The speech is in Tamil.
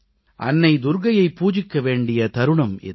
அன்னை துர்க்கையை பூஜிக்க வேண்டிய தருணம் இது